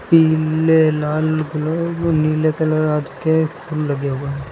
पीले लाल गुलाब नीले कलर के फूल लगे हुए हैं।